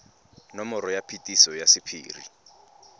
nomoro ya phetiso ya sephiri